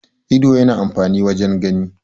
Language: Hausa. ido yana amfani wajen gani